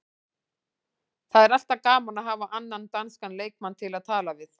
Það er alltaf gaman að hafa annan danskan leikmann til að tala við.